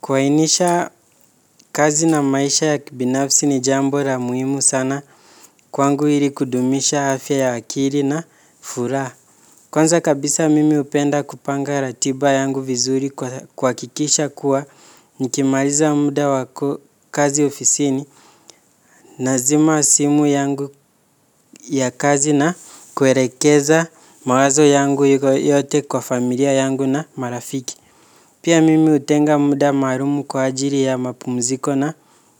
Kuainisha kazi na maisha ya kibinafsi ni jambo la muhimu sana kwangu ili kudumisha afya ya akili na furaha. Kwanza kabisa mimi hupenda kupanga ratiba yangu vizuri kuhakikisha kuwa nikimaliza muda wa kazi ofisini nazima simu yangu ya kazi na kuelekeza mawazo yangu yote kwa familia yangu na marafiki. Pia mimi hutenga muda maalum kwa ajili ya mapumziko na